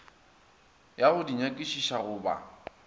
ya go nyakišiša go ba